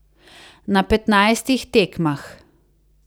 Na petnajstih tekmah.